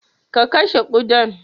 Ka kashe kuɗan